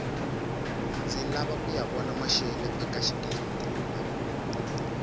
ndzi lava kuya vona maxelo eka xigila mihkuva